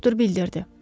Doktor bildirdi.